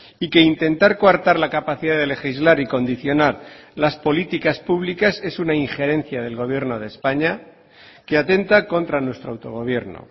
y que intentar coartar la capacidad de legislar y condicionar las políticas públicas es una injerencia del gobierno de españa que atenta contra nuestro autogobierno